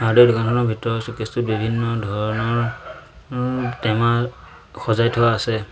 Hardware দোকানখনৰ ভিতৰত showcase টোত বিভিন্ন ধৰণৰ টেমা সজাই থোৱা আছে।